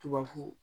Tubabu